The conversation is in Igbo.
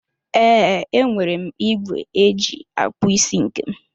Ee, enwere m ìgwè eji akpụ isi nke m.